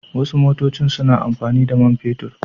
Wasu motocin suna amfani da man fetur.